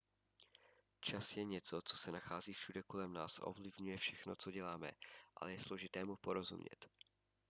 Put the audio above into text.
čas je něco co se nachází všude kolem nás a ovlivňuje všechno co děláme ale je složité mu porozumět